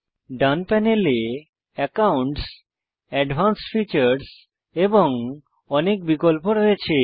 ডান প্যানেলে accounts advanced features এবং অনেক বিকল্প রয়েছে